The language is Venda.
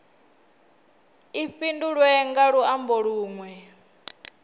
i fhindulwe nga luambo lunwe